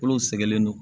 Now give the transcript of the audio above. Kolo sɛgɛnnen don